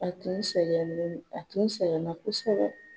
A tun sɛgɛnlen no a tun sɛgɛnna kosɛbɛ.